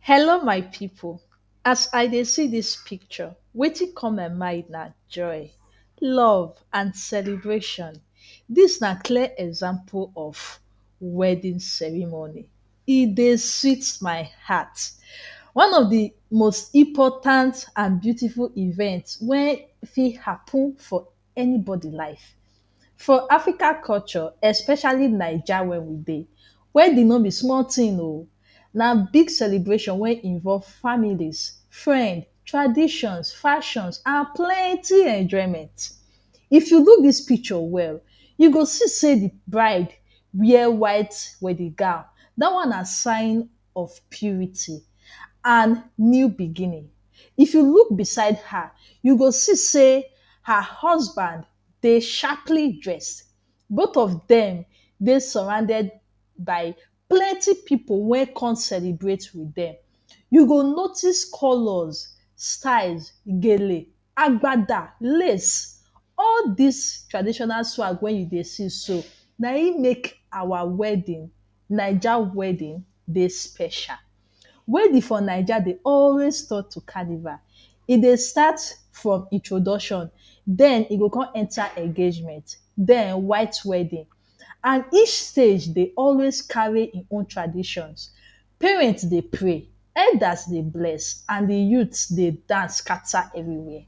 Hello my pipu! As I dey see dis picture, wetin come my mind na joy, love and celebration. Dis na clear example of wedding ceremony. E dey sweet my heart! One of de most important and beautiful event wey fit happen for anybody life. For African culture, especially Naija wey we dey, wedding no be small thing o! Na big celebration wey involve families, friend, traditions, fashion and plenty enjoyment. If you look dis picture well, you go see sey de bride wear white wedding gown. Dat one na sign of purity and new beginning. If you look beside her, you go see sey her husband dey sharply dressed. Both of dem dey surrounded by plenty pipu wey come celebrate with dem. You go notice colours, styles, Gele, Agbada, Lace. All dis traditional swag wey you dey see so, na im make awa wedding, Naija wedding, dey special. Wedding for Naija dey always turn to carnival. E dey start from introduction, den e go come enter engagement, den white wedding and each stage dey always carry e own traditions. Parents dey pray, elders dey bless and de youths dey dance scatter everywhere.